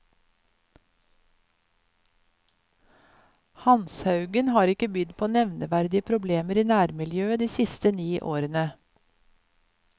Hanshaugen, har ikke bydd på nevneverdige problemer i nærmiljøet de siste ni årene.